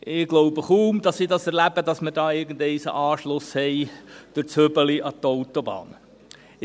Ich glaube kaum, dass ich es erleben werde, dass wir da irgendwann einen Anschluss durch das Hübeli an die Autobahn haben.